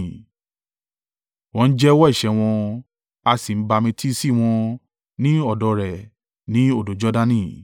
Wọ́n ń jẹ́wọ́ ẹ̀ṣẹ̀ wọn, a sì ń bamitiisi wọn ní ọ̀dọ̀ rẹ̀ ní odò Jordani.